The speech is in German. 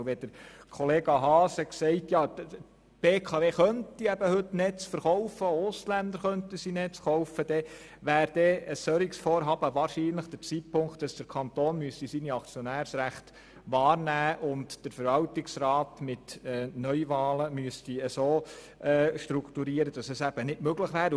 Und wenn Kollege Haas sagt, die BKW könne ja schon heute Netze verkaufen und auch Ausländer könnten sie kaufen, dann wäre angesichts ein solchen Vorhabens wohl der Zeitpunkt gekommen, wo der Kanton seine Aktionärsrechte wahrnehmen und den Verwaltungsrat mit Neuwahlen so strukturieren müsste, dass dies nicht möglich ist.